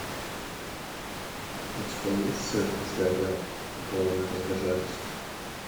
у тебя есть цирк сгорел и клоуны разбежались